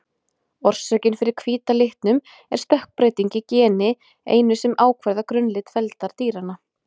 Orsökin fyrir hvíta litnum er stökkbreyting í geni einu sem ákvarðar grunnlit feldar dýranna.